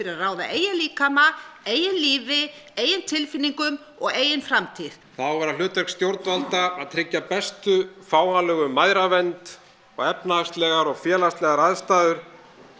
að ráða eigin líkama eigin lífi eigin tilfinningum og eigin framtíð það á að vera hlutverk stjórnvalda að tryggja bestu fáanlegu mæðravernd og efnahagslegar og félagslegar aðstæður